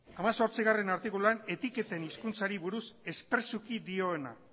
hemezortzigarrena artikuluan etiketen hizkuntzari buruz espresuki dioena